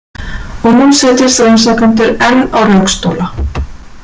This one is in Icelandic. Og nú setjast rannsakendur enn á rökstóla.